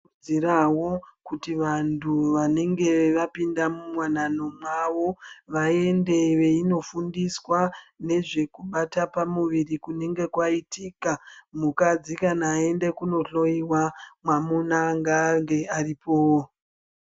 Tinokurudzirawo kuti vanhu vanenge vapinda muwanano mwavo vaende veinofundiswa ngezvekubata kwepamuviri kunenge kwaitika. Mukadzi kana aenda kundohloyiwa mwamuna ngaange aripowo.